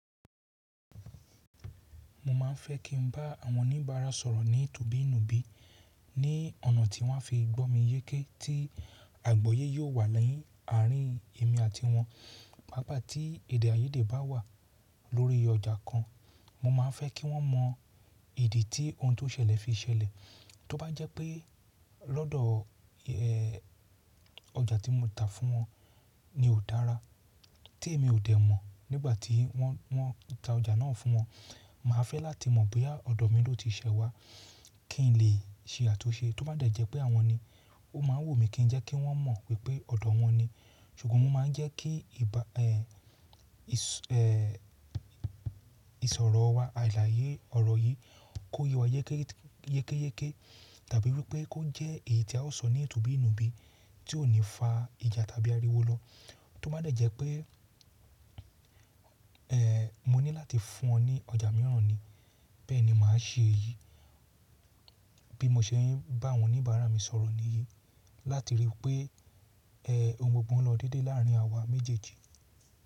Mo máa ń fẹ́ kí n bá àwọn oníbàárà sọ̀rọ̀ ní tùbí nùbí, ní ọ̀nà tí wọ́n á fi gbọ́ mi yéké tí àgbọyé yóò wà ni àárín èmi àti wọn. Pàápàá tí èdè àyédè bá wà lórí ọjà kan, mo máa ń fẹ́ kí wọ́n mọ ìdí tí ohun tó ṣẹlẹ̀ fi ṣẹlẹ̀. Tọ́ bá jẹ́ pé lọ́dọ̀ ọjà tí mo ta fún wọn ni ò dára, tí èmi ò dẹ̀ mọ̀ nígbà tí wọ́n ń ta ọjà náà fún wọn, màá fẹ́ láti mọ̀ bóya ọ̀dọ̀ mi ló ti ṣẹ wá kí n lè ṣe àtunṣe. Tọ́ bá dẹ̀ jẹ́ pé àwọn ni, ó máa wumí kí jẹ́ kí wọ́n mọ̀ wipé ọ̀dọ̀ wọn ni. Sùgbọ́n mo máa ń jẹ́ kí, ìsọ̀rọ̀ wà àlaàyé ọ̀rọ̀ yìí kó ye wa yékéyéké, tàbí wí pé kó jẹ́ èyí tí a ó sọ ní tùbí nùbí, tí ò ní fa ìjà tàbí ariwo lọ. Tọ́ bá dẹ̀ jẹ́ pé mo ní láti fún wọn ni ọjà mìíràn ni, bẹ́ẹ̀ni màá ṣe èyí, bí mo ṣe ń bá àwọn oníbàárà mi sọ̀rọ̀ níyí, láti rí pé ohun gbogbo ń lọ déedée láàárín àwa méjèèjì.